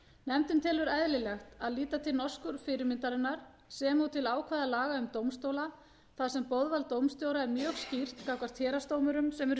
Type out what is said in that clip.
nefndin telur eðlilegt að líta til norsku fyrirmyndarinnar sem og til ákvæða laga um dómstóla þar sem boðvald dómstjóra er mjög skýrt gagnvart héraðsdómurum sem eru